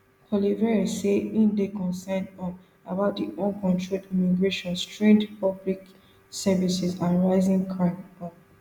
poilievre say im dey concerned um about di uncontrolled immigration strained public services and rising crime um